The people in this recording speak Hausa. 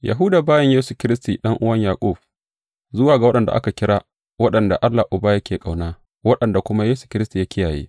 Yahuda, bawan Yesu Kiristi, ɗan’uwan Yaƙub, Zuwa ga waɗanda aka kira, waɗanda Allah Uba yake ƙauna, waɗanda kuma Yesu Kiristi ya kiyaye.